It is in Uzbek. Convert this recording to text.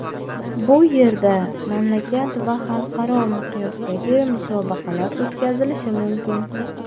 Bu yerda mamlakat va xalqaro miqyosdagi musobaqalar o‘tkazilishi mumkin.